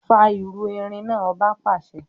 Fà irú erin náà! Ọba pàṣẹ.